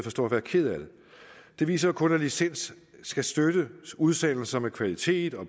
at stå at være ked af det det viser jo kun at licens skal støtte udsendelser af kvalitet og